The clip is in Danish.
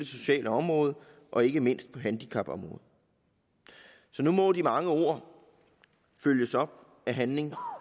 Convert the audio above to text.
sociale område og ikke mindst på handicapområdet nu må de mange ord følges op af handling